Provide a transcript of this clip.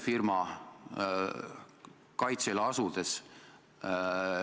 Seda peab kindlasti tegema ka peaminister.